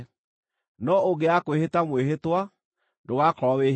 No ũngĩaga kwĩhĩta mwĩhĩtwa, ndũgaakorwo wĩhĩtie.